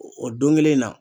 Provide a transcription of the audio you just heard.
O don kelen na